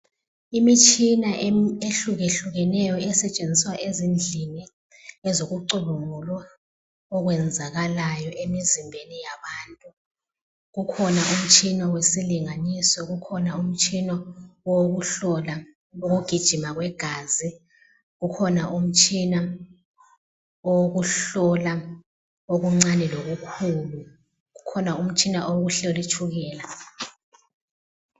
Imitshina ehlukahlukeneyo isetshenziswa ezindlini ezokucubungulwa okwenzakalayo emzimbeni yabantu. Kukhona umtshina wesilinganiso kukhona umtshina wokuhlola ukugijima kwegazi kukhona umtshina owokuhlola okuncane lokukhulu ukhona umtshina wokuhlola itshukela.